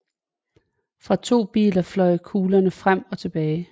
Fra to biler fløj kuglerne frem og tilbage